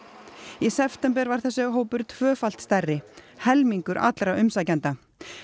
í september var þessi hópur tvöfalt stærri helmingur allra umsækjenda